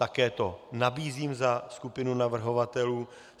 Také to nabízím za skupinu navrhovatelů.